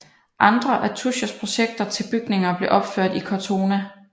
Andre af Tuschers projekter til bygninger blev opført i Cortona